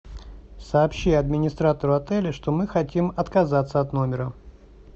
сообщи администратору отеля что мы хотим отказаться от номера